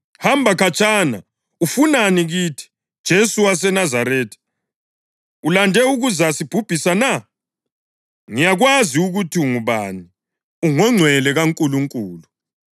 “Hamba khatshana! Ufunani kithi, Jesu waseNazaretha? Ulande ukuza sibhubhisa na? Ngiyakwazi ukuthi ungubani, ungoNgcwele kaNkulunkulu!”